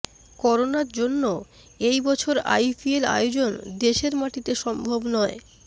করোনার জন্য এই বছর আইপিএল আয়োজন দেশের মাটিতে সম্ভব নয়